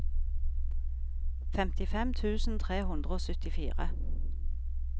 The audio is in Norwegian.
femtifem tusen tre hundre og syttifire